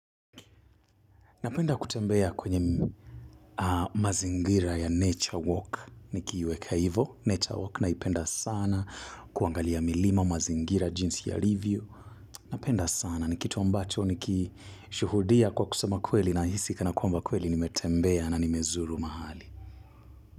Napenda kutembea kwenye mazingira ya Nature Walk ni kiiweka ivo, Nature Walk na ipenda sana kuangalia milima mazingira jinsi ya Livio. Napenda sana ni kitu ambacho nikishuhudia kwa kusema kweli nahisi kana kuamba kweli nimetembea na nimezuru mahali.